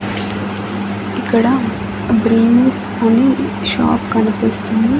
ఇక్కడ బ్రింగ్స్ అని షాప్ కనిపిస్తుంది.